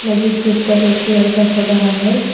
मस्जिद के ऊपर एक लड़का खड़ा है।